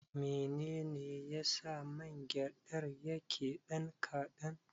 Menene yasa man gyaɗar yake ɗan kaɗan.